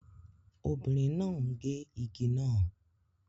Obìnrin náà ń gé igi náà